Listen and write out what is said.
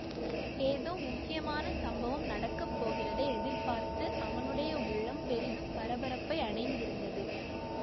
ஏதோ முக்கியமான சம்பவம் நடக்க போகிறதை எதிர்பார்த்து அவனுடைய உள்ளம் பெரிதும் பரபரப்பை அடைந்திருந்தது